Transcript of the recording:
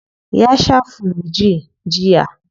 Ya shaa flu-j jiya.